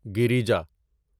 گریجا